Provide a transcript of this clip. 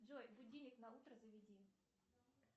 джой будильник на утро заведи